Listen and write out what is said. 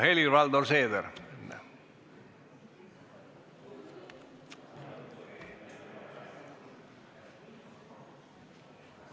Helir-Valdor Seeder!